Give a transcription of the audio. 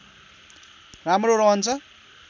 राम्रो रहन्छ